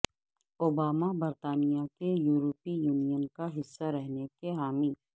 Obama برطانیہ کے یورپی یونین کا حصہ رہنے کے حامی